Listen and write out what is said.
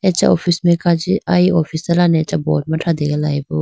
acha office mai kaji aye office da lane board ma thrategalayibo.